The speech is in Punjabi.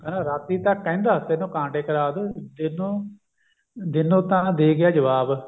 ਕਹਿੰਦਾ ਰਾਤੀ ਤਾਂ ਕਹਿੰਦਾ ਤੈਨੂੰ ਕਾਂਟੇ ਕਰਾਦੂਂ ਦਿਨ ਨੂੰ ਦਿਨ ਨੂੰ ਤਾਂ ਦੇ ਗਿਆ ਜਵਾਬ